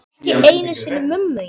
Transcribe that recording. Ekki einu sinni mömmu þína.